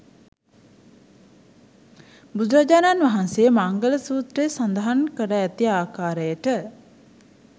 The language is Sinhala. බුදුරජාණන් වහන්සේ මංගල සූත්‍රයේ සඳහන් කර ඇති ආකාරයට